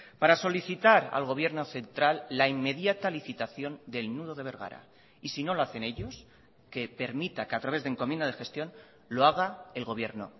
para solicitar al gobierno central la inmediata licitación del nudo de bergara y si no lo hacen ellos que permita que a través de encomienda de gestión lo haga el gobierno